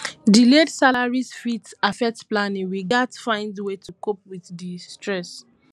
delayed salaries fit affect planning we gats find ways to cope with di stress